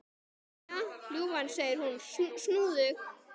Jæja, ljúfan, segir hún snúðug.